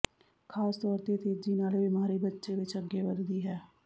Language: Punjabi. ਖ਼ਾਸ ਤੌਰ ਤੇ ਤੇਜ਼ੀ ਨਾਲ ਇਹ ਬਿਮਾਰੀ ਬੱਚੇ ਵਿੱਚ ਅੱਗੇ ਵਧਦੀ ਹੈ